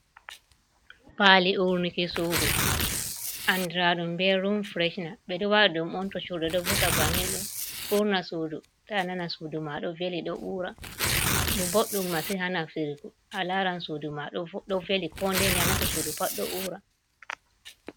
Paali urnuki suudu andira ɗum be rum fireshina, be ɗo waɗa ɗum on to churɗe ɗo vurta bannin ɗo urna suudu sei nana suudu ma ɗo veli ɗo ura, ɗum boɗɗum masin ha naftirgu a laran suudu ma ɗo veli ko nde nde a nasti suudu pat ɗo ura.